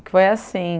que foi assim...